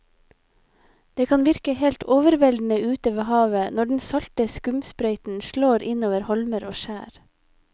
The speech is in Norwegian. Det kan virke helt overveldende ute ved havet når den salte skumsprøyten slår innover holmer og skjær.